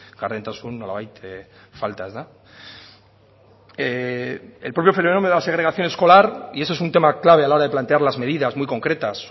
gardentasuna nolabait falta ezta el propio fenómeno de la segregación escolar y ese es un tema clave a la hora de plantear medidas muy concretas